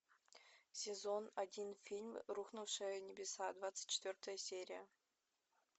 сезон один фильм рухнувшие небеса двадцать четвертая серия